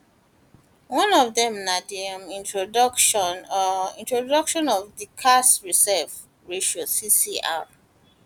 one of dem na di um introduction um introduction of di cash reserve ratio crr um